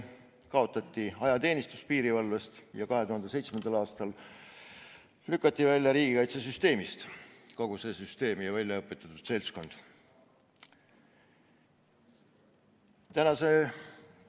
Piirivalvest kaotati ajateenistus ja 2007. aastal lükati piirivalve, kogu selle süsteemi väljaõpetatud seltskond riigikaitsesüsteemist välja.